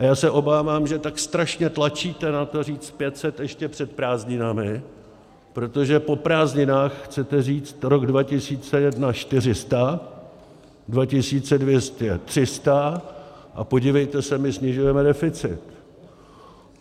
A já se obávám, že tak strašně tlačíte na to říct 500 ještě před prázdninami, protože po prázdninách chcete říct, rok 2021 - 400, 2022 - 300, a podívejte se, my snižujeme deficit.